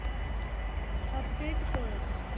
update कर